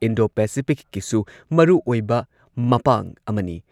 Indo ꯄꯦꯁꯤꯐꯤꯛꯀꯤꯁꯨ ꯃꯔꯨꯑꯣꯏꯕ ꯃꯄꯥꯡ ꯑꯃꯅꯤ꯫